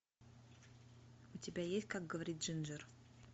у тебя есть как говорит джинджер